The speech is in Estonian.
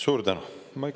Suur tänu!